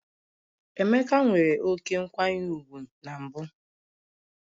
Emeka nwere oké nkwanye ùgwù na mbụ